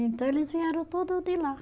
Então eles vieram tudo de lá.